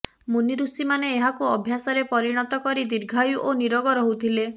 ମୁନିଋଷିମାନେ ଏହାକୁ ଅଭ୍ୟାସରେ ପରିଣତ କରି ଦୀର୍ଘାୟୁ ଓ ନିରୋଗ ରହୁଥିଲେ